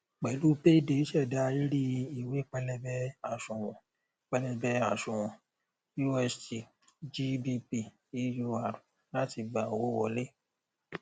pẹlú payday ṣẹdá rírí ìwé pẹlẹbẹ àsùnwòn pẹlẹbẹ àsùnwòn usd gbp eur láti gba owó wọlé